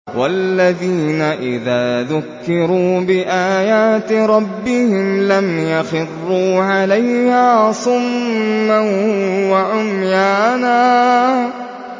وَالَّذِينَ إِذَا ذُكِّرُوا بِآيَاتِ رَبِّهِمْ لَمْ يَخِرُّوا عَلَيْهَا صُمًّا وَعُمْيَانًا